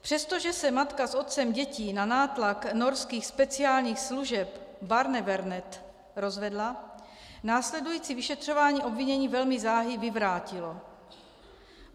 Přestože se matka s otcem dětí na nátlak norských speciálních služeb Barnevernet rozvedla, následující vyšetřování obvinění velmi záhy vyvrátilo.